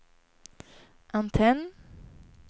antenn